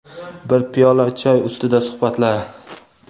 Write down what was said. bir piyola choy ustida suhbatlar.